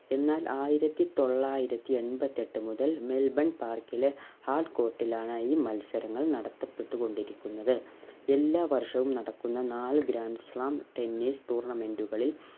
എന്നാൽ ആയിരത്തി തൊള്ളായിരത്തി എൺപത്തി എട്ടു മുതൽ മെൽബൺ park ലെ hard court ലാണ് ഈ മത്സരങ്ങൾ നടത്തപ്പെട്ട്‌ കൊണ്ടിരിക്കുന്നത് എല്ലാ വർഷവും നടക്കുന്ന നാല് grand slamtennis tournament കളിൽ